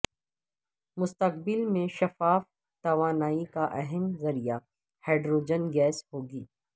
مستقبل میں شفاف توانائی کا اہم ذریعہ ہائیڈروجن گیس ہو گی